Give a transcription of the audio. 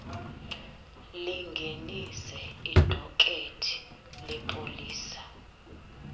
lingenise idokethi lepolisa